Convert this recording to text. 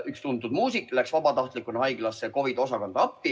Üks tuntud muusik läks vabatahtlikuna haiglasse COVID‑i osakonda appi.